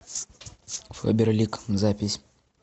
фаберлик запись